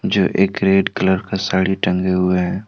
जो एक red colour का साड़ी टांगे हुए हैं।